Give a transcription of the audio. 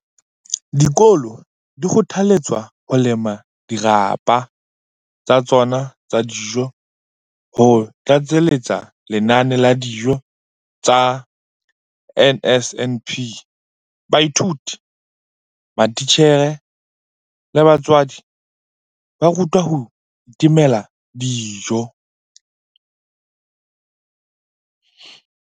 Dikolo di kgothaletswa ho lema dirapa tsa tsona tsa dijo ho tlatseletsa lenane la dijo tsa NSNP. Baithuti, matitjhere le batswadi ba rutwa ho itemela dijo.